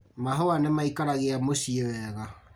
Mahũa nĩmaikaragia mũciĩ wega